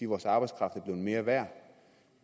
vores arbejdskraft er blevet mere værd